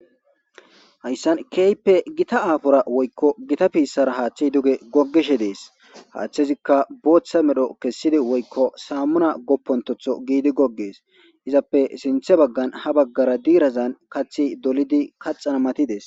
Hayssan keyppe gita aafora woykko gita piissara haaththey duge gogishe dees haaththezikka booththa medho kessidi woykko saammuna goppontotho giidi goggees izappe sinthe baggan ha baggara diirazan kathi dolidi kaxana matides